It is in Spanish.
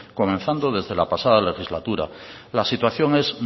comenzando desde la pasada legislatura la situación es